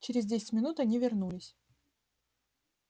через десять минут они вернулись